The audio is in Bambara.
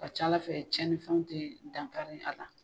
Ka ca Ala fɛ cɛninfɛnw te dan kari a la.